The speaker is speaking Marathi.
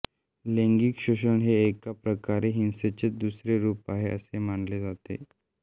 लैंगिक शोषण हे एका प्रकारे हिंसेचेच दुसरे रूप आहे असे मानले जाते